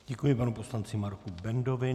Děkuji panu poslanci Marku Bendovi.